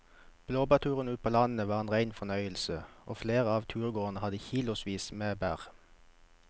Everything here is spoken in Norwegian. Blåbærturen ute på landet var en rein fornøyelse og flere av turgåerene hadde kilosvis med bær.